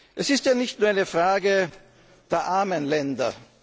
der sozialen Frage. Es ist ja nicht nur eine